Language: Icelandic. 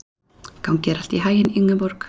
Gangi þér allt í haginn, Ingeborg.